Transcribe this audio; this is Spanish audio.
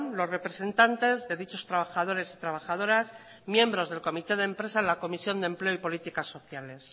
los representantes de dichos trabajadores y trabajadoras miembros del comité de empresa en la comisión de empleo y políticas sociales